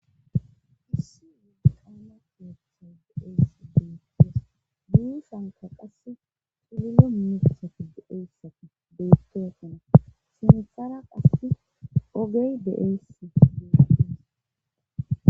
issi umiggi qama pihetha de7eyssi deyuttes guyusanka qasse pulilo mimidithati deeyssati deyettotana simthara qase ogey de7eyss godides